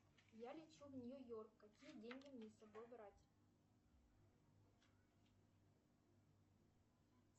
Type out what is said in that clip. я лечу в нью йорк какие деньги мне с собой брать